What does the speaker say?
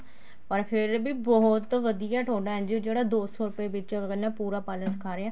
ਪਰ ਫ਼ੇਰ ਵੀ ਬਹੁਤ ਵਧੀਆ ਤੁਹਾਡਾ NGO ਜਿਹੜਾ ਦੋ ਸੋ ਰੁਪਏ ਵਿੱਚ ਆਪਾਂ ਕਹਿਨੇ ਹਾਂ ਪੂਰਾ parlor ਸਿਖਾ ਰਿਹਾ